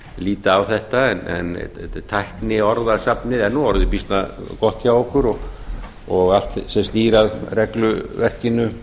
líta á þetta en tækniorðasafnið er orðið býsna gott hjá okkur og allt sem snýr að regluverkinu